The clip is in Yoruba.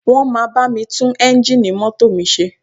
Wọ́n máa bá mi tún eńjíìnì mọ́tò mi ṣe